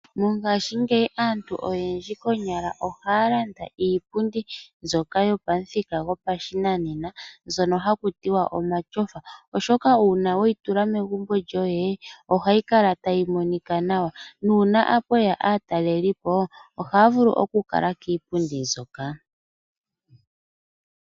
Mongashingeyi aantu oyendji ohaya landa iipundi mbyoka yopamuthika gopashinanena, omatyofa. Uuna weyi tula megumbo lyoye ohayi monika nawa nuuna mweya aatalelipo otaya vulu okukuutumba kiipundi mbyoka.